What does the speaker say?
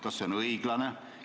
Kas see on õiglane?